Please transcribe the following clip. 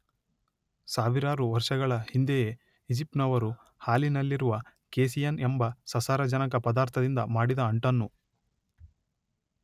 ಸಾವಿರಾರು ವರ್ಷಗಳ ಹಿಂದೆಯೇ ಈಜಿಪ್ಟಿನವರು ಹಾಲಿನಲ್ಲಿರುವ ಕೇಸಿಯಿನ್ ಎಂಬ ಸಸಾರಜನಕ ಪದಾರ್ಥದಿಂದ ಮಾಡಿದ ಅಂಟನ್ನು